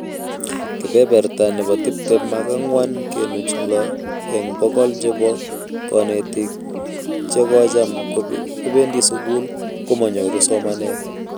Kebeberta nebo tiptem ak ang'wan kenuch lo eng bokol chebo konetik che kocham kobendi sukul komanyoru somanet